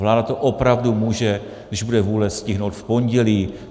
Vláda to opravdu může, když bude vůle, stihnout v pondělí.